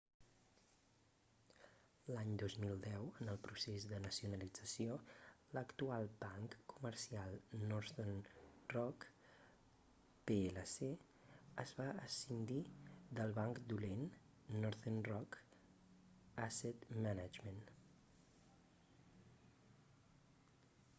l'any 2010 en el procés de nacionalització l'actual banc comercial northern rock plc es va escindir del banc dolent northern rock asset management